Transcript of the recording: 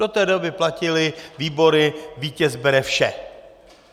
Do té doby platily výbory, vítěz bere vše.